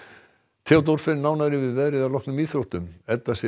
Theodór fer nánar yfir veðrið að loknum íþróttum Edda Sif